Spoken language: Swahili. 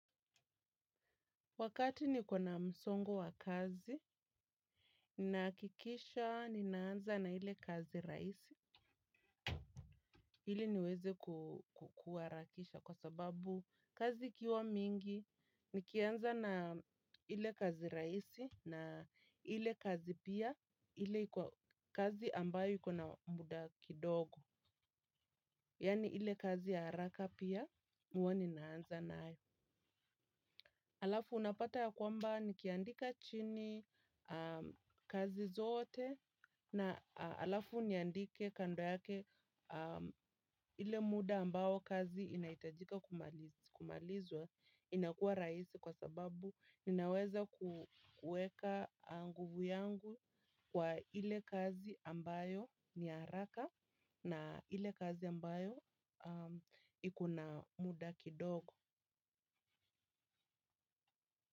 Wakati niko na msongo wa kazi, ninakikisha, ninaanza na ile kazi rahisi, ili niweze ku kuharakisha kwa sababu kazi ikiwa mingi, nikianza na ile kazi rahisi na ile kazi pia, ile iko kazi ambayo iko na muda kidogo, yaani ile ya kazi haraka pia, hua ninaanza nayo. Alafu unapata ya kwamba nikiandika chini kazi zote na alafu niandike kando yake ile muda ambao kazi inahitajika kumalizwa inakua rahisi kwa sababu ninaweza kueka nguvu yangu kwa ile kazi ambayo ni ya haraka na ile kazi ambayo ikuna muda kidogo.